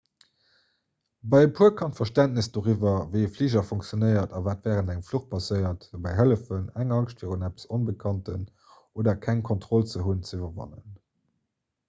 bei e puer kann d'verständnes doriwwer wéi e fliger funktionéiert a wat wärend engem fluch passéiert dobäi hëllefen eng angscht virun eppes onbekanntem oder keng kontroll ze hunn ze iwwerwannen